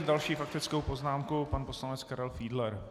S další faktickou poznámkou pan poslanec Karel Fiedler.